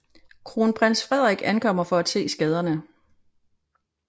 Kronprins Frederik ankommer for at se skaderne